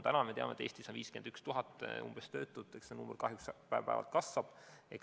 Täna me teame, et Eestis on umbes 51 000 töötut, ja see arv kahjuks päev-päevalt kasvab.